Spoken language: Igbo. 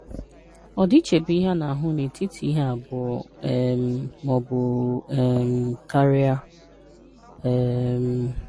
Ọdịiche bụ ihe a na-ahụ n’etiti ihe abụọ um ma ọ bụ um karịa. um